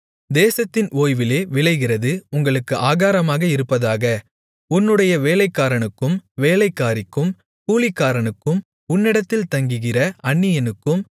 தேசத்தின் ஓய்விலே விளைகிறது உங்களுக்கு ஆகாரமாக இருப்பதாக உன்னுடைய வேலைக்காரனுக்கும் வேலைக்காரிக்கும் கூலிக்காரனுக்கும் உன்னிடத்தில் தங்குகிற அந்நியனுக்கும்